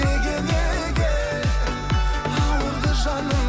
неге неге ауырды жаның